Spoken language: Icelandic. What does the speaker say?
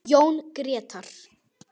Jón Grétar.